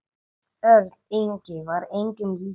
Örn Ingi var engum líkur.